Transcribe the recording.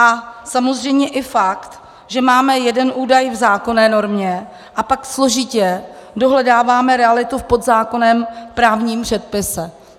A samozřejmě i fakt, že máme jeden údaj v zákonné normě, a pak složitě dohledáváme realitu v podzákonném právním předpise.